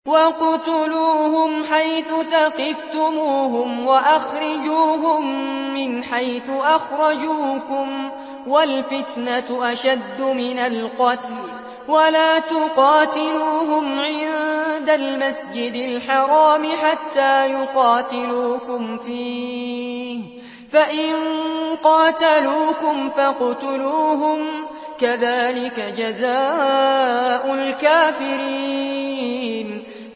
وَاقْتُلُوهُمْ حَيْثُ ثَقِفْتُمُوهُمْ وَأَخْرِجُوهُم مِّنْ حَيْثُ أَخْرَجُوكُمْ ۚ وَالْفِتْنَةُ أَشَدُّ مِنَ الْقَتْلِ ۚ وَلَا تُقَاتِلُوهُمْ عِندَ الْمَسْجِدِ الْحَرَامِ حَتَّىٰ يُقَاتِلُوكُمْ فِيهِ ۖ فَإِن قَاتَلُوكُمْ فَاقْتُلُوهُمْ ۗ كَذَٰلِكَ جَزَاءُ الْكَافِرِينَ